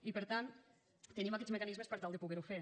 i per tant tenim aquests mecanismes per tal de poder ho fer